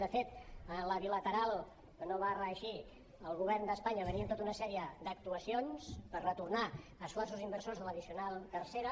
de fet en la bilateral que no va reeixir el govern d’espanya venia amb tota una sèrie d’actuacions per retornar esforços inversors de l’addicional tercera